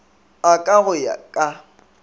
a ka go ya ka